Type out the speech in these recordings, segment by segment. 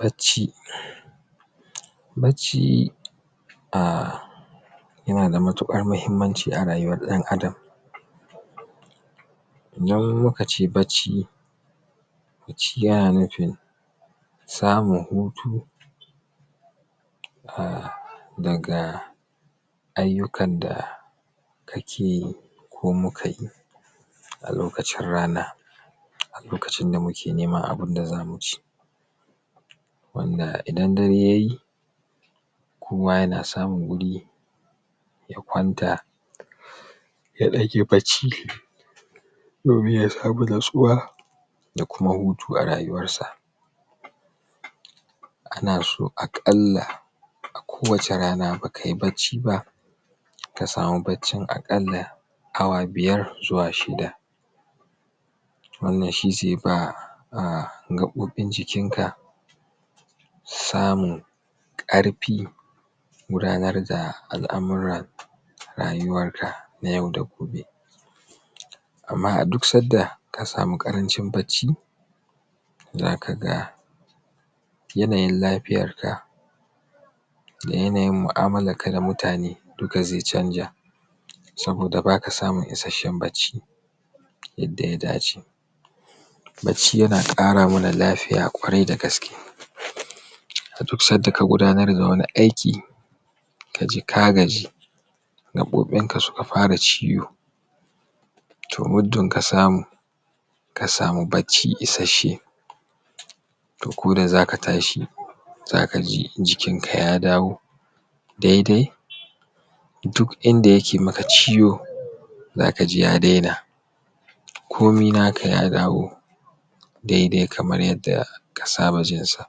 Bacci, bacci ahh yana da matuƙar mahimmanci a rayuwar ɗan Adam Wani lokaci bacci, bacci yana nufin samun hutu ahh daga ayyukan da ake ko mukayi a lokacin rana, a lokacin da muke neman abinda za mu ci, wanda idan dare yayi kowa yana samun wuri ya kwanta ya ɗan yi bacci domin ya samu natsuwa da kuma hutu a rayuwarsa. Ana so aƙalla kowace rana bakayi bacciba ka samu baccin aƙalla awa biyar zuwa shida. Wanna shi zai ba gaɓoɓin jikinka samun ƙarfin gudanar da al'amura a rayuwanka na yau da kullum. Amma a duk sanda ka samu ƙarancin bacci za kaga yanayin lafiyarka da yanayin mu'amalarka da mutane duka zai canza saboda baka samun isasshen bacci yadda ya dace. Bacci yana ƙara mana lafiya ƙwarai da gaske. A duk sanda ka gudanar da wani aiki, ka ji ka gaji gaɓoɓinka suka fara ciwo, to muddun ka samu ka samu bacci isasshe, to ko da zaka tashi zaka ji jikinka ya dawo daidai duk inda yake maka ciwo zaka ji ga daina komi naka ya dawo daidai kaman yanda ka saba jinsa.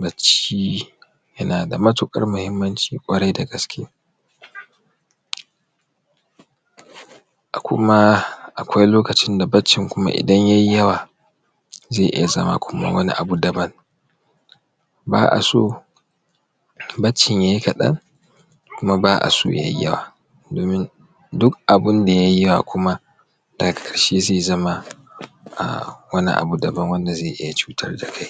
Bacci yana da matuƙar muhimmanci ƙwarai da gaske. kuma akwai lokacin da baccin kuma idan yayi yawa zai iya zama kuma wani abu daban ba a so baccin yayi kaɗan kuma ba a so yayi yawa domin duk abinda yayi yawa kuma daga ƙarshe zai zama kuma uhm wani abu daban wanda zai iya cutar da kai